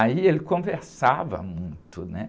Aí ele conversava muito, né?